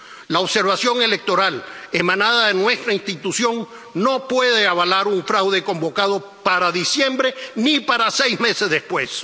La observación electoral, emanada de nuestra institución, no puede avalar un fraude convocado para diciembre ni para seis meses después.